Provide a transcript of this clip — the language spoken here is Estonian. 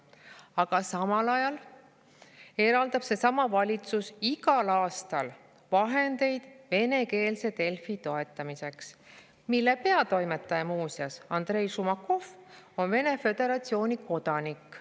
Aga samal ajal eraldab seesama valitsus igal aastal vahendeid venekeelse Delfi toetamiseks, mille peatoimetaja Andrei Šumakov on muuseas Vene Föderatsiooni kodanik.